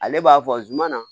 Ale b'a fɔ zumana